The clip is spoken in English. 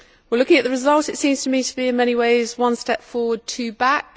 Looking at the result, it seems to me to be in many ways one step forward and two back.